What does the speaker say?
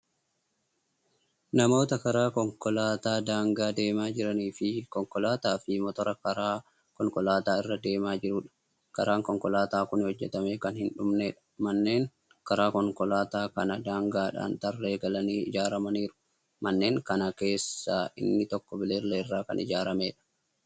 Namoota karaa konkolaataa daangaa deemaa jiranii fi konkolaataafi motora karaa konkolaataa irra deemaa jiruudha. karaan konkolaataa Kuni hojjatamee Kan hin dhumneedha. manneen karaa konkolaataa kana daangaadhaan tarree galanii ijaaramaniiru. manneen Kana keessaa inni tokko bililleeerraa Kan ijaarameedha.